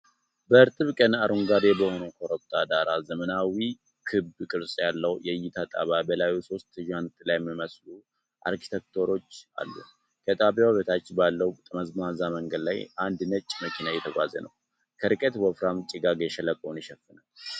በእርጥብ ቀን አረንጓዴ በሆነ ኮረብታ ዳር ዘመናዊ ክብ ቅርጽ ያለው የእይታ ጣቢያ በላዩ ሦስት ዣንጥላ የሚመስሉ አርኪቴክቸሮች አሉ። ከ ጣቢያው በታች ባለው ጠመዝማዛ መንገድ ላይ አንድ ነጭ መኪና እየተጓዘ ነው። ከርቀት ወፍራም ጭጋግ ሸለቆውን ይሸፍናል።